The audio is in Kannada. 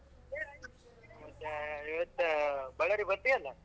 ಮತ್ತೆ ಇವತ್ತು ಬಳ್ಳಾರಿಗೆ ಬರ್ತಿ ಅಲ್ಲಾ.